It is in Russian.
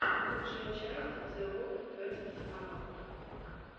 лучшая часть зе од фестс аут